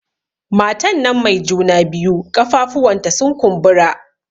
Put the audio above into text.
Matan nan mai juna biyu ƙafafuwan ta sun kumbura